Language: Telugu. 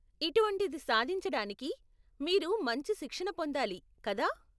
ఇటువంటిది సాధించడానికి , మీరు మంచి శిక్షణ పొందాలి, కదా ?